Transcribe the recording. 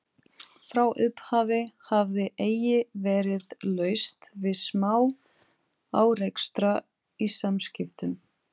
Frá upphafi hafði eigi verið laust við smá-árekstra í samskiptum